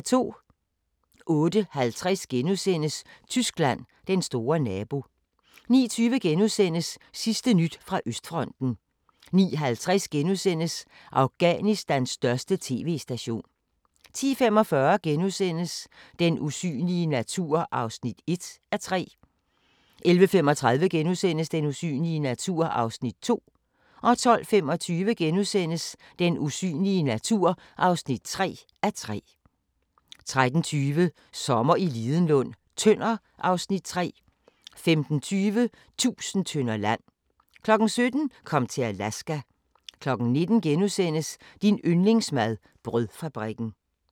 08:50: Tyskland: Den store nabo * 09:20: Sidste nyt fra Østfronten * 09:50: Afghanistans største TV–station * 10:45: Den usynlige natur (1:3)* 11:35: Den usynlige natur (2:3)* 12:25: Den usynlige natur (3:3)* 13:20: Sommer i Lidenlund: Tønder (Afs. 3) 15:20: Tusind tønder land 17:00: Kom til Alaska 19:00: Din yndlingsmad: Brødfabrikken *